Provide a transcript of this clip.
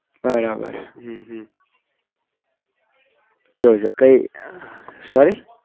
બરાબર હમ હમ કઈ sorry